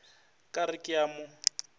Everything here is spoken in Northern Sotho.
ka re ke a mo